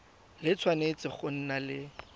le tshwanetse go nna le